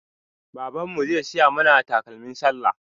Baban mu zai siya mana takalmin sallah